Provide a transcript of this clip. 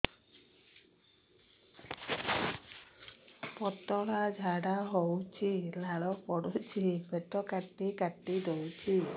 ପତଳା ଝାଡା ହଉଛି ଲାଳ ପଡୁଛି ପେଟ କାଟି କାଟି ଦଉଚି